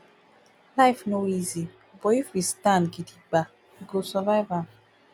life no easy but if we stand gidigba we go survive am